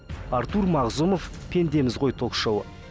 артур мағзумов пендеміз ғой ток шоуы